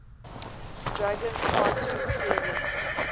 dragons cartoon series